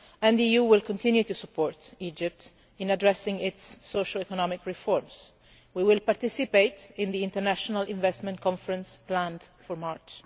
The EU will continue to support Egypt in addressing its socio economic reforms. We will participate in the international investment conference planned for March.